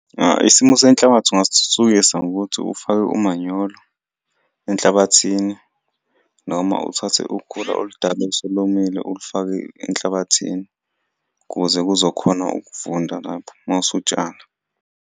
Isimo senhlabathi ungasithuthukisa ngokuthi ufake umanyolo enhlabathini noma uthathe ukhula oludala oselomile ulifake enhlabathini, kuze kuzokhona ukuvunda lapho uma usutshala.